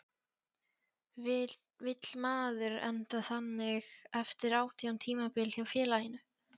Vill maður enda þannig eftir átján tímabil hjá félaginu?